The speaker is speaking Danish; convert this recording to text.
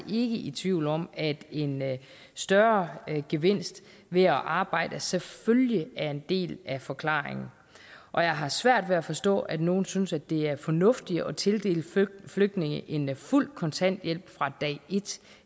i tvivl om at en større gevinst ved at arbejde selvfølgelig er en del af forklaringen og jeg har svært ved at forstå at nogle synes at det er fornuftigt at tildele flygtninge en fuld kontanthjælp fra dag